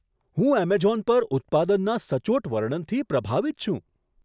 હું એમેઝોન પર ઉત્પાદનના સચોટ વર્ણનથી પ્રભાવિત છું.